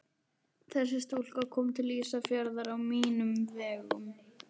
Þessi stúlka kom til Ísafjarðar á mínum vegum.